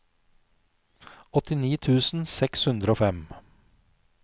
åttini tusen seks hundre og fem